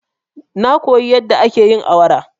Na koya yadda ake awara.